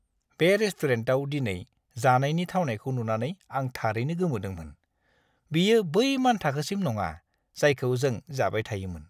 बे रेस्टुरेन्टाव दिनै जानायनि थावनायखौ नुनानै आं थारैनो गोमोदोंमोन। बेयो बै मानथाखोसिम नङा, जायखौ जों जाबाय थायोमोन!